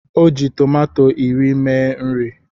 O ji tòmátò iri mee nri